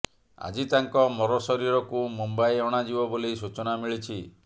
ଆଜି ତାଙ୍କ ମରଶରୀରକୁ ମୁମ୍ବାଇ ଅଣାଯିବ ବୋଲି ସୂଚନା ମିଳିଛି